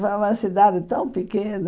Lá é uma cidade tão pequena.